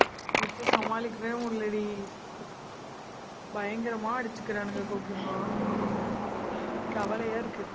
வச்சு சமாளிக்கவே முடியலடி. பயங்கரமா அடிச்சிக்கிறானுங்க, கோகிம்மா கவலையா இருக்கு